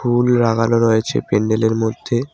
ফুল লাগানো রয়েছে প্যান্ডেল -এর মধ্যে।